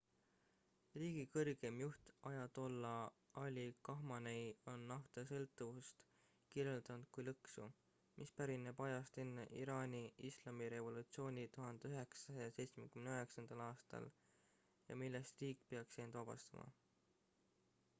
riigi kõrgeim juht ajatolla ali khamenei on naftasõltuvust kirjeldanud kui lõksu mis pärineb ajast enne iraani islamirevolutsiooni 1979 aastal ja millest riik peaks end vabastama